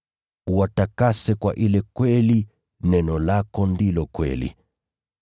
Uwatakase kwa ile kweli, neno lako ndilo kweli.